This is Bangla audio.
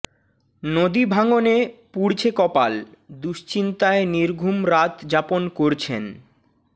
নদী ভাঙনে পুড়ছে কপাল দুশ্চিন্তায় নির্ঘুম রাত যাপন করছেন